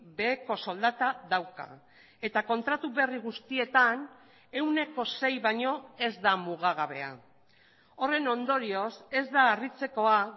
beheko soldata dauka eta kontratu berri guztietan ehuneko sei baino ez da mugagabea horren ondorioz ez da harritzekoa